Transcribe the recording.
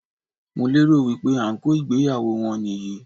Mo lérò wípé ànkò ìgbéyàwó wọn nì yí í